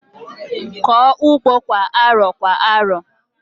Kọọ ugbo kwa arọ kwa arọ!